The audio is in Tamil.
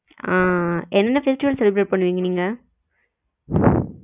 ஆஹ் என்ன festival celebrate பண்ணுவிங்க நீங்க